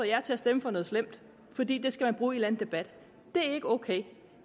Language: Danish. jer til at stemme for noget slemt for det skal man bruge i en debat det er ikke ok